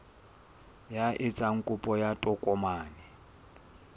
ya etsang kopo ya tokomane